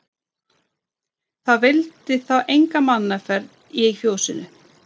Það vildi þá enga mannaferð í fjósinu.